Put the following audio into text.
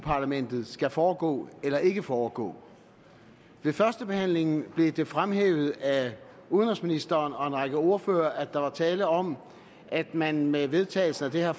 parlamentet skal foregå eller ikke foregå ved førstebehandlingen blev det fremhævet af udenrigsministeren og en række ordførere at der var tale om at man med vedtagelsen af det her